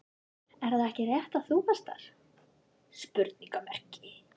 Er það ekki rétt að þú varst þar?